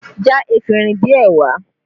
Já efinrin díẹ̀ wá!